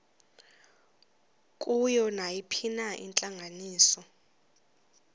kuyo nayiphina intlanganiso